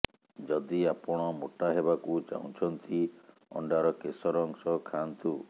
ଯଦି ଆପଣ ମୋଟା ହେବାକୁ ଚାହୁଁଛନ୍ତି ଅଣ୍ଡାର କେଶର ଅଂଶ ଖାଆନ୍ତୁ